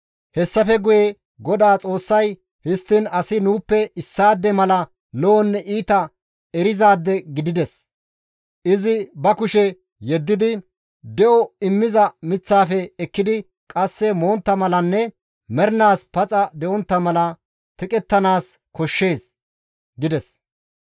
Hessafe guye GODAA Xoossay, «Histtiin asi nuuppe issaade mala lo7onne iita erizaade gidides; izi ba kushe yeddidi de7o immiza miththaafe ekkidi qasse montta malanne mernaas paxa de7ontta mala teqettanaas koshshees» gides.